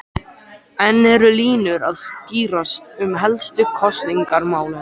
En eru línur að skýrast um helstu kosningamálin?